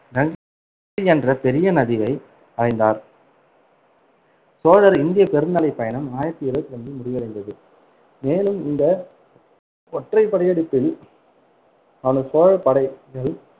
என்ற பெரிய நதியை அடைந்தார். சோழர் இந்தியப் பெருநிலைப் பயணம் ஆயிரத்தி இருவத்தி ரெண்டில் முடிவடைந்தது, மேலும் இந்த ஒற்றைப் படையெடுப்பில் அவனது சோழ படைகள்